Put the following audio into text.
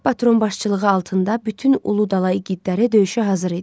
Alp Batırın başçılığı altında bütün Uludala igidləri döyüşə hazır idi.